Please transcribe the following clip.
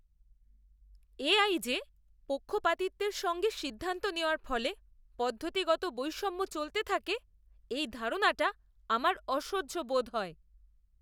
AI যে পক্ষপাতিত্বের সঙ্গে সিদ্ধান্ত নেওয়ার ফলে পদ্ধতিগত বৈষম্য চলতে থাকে, এই ধারণাটা আমার অসহ্য বোধ হয়।